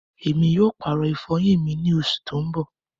Ẹmi yóò paàrọ ifọyin mi ni oṣù tó n bọ̀.